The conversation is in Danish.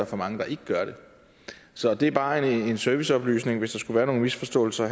for mange der ikke gør det så det er bare en serviceoplysning hvis der skulle være nogle misforståelser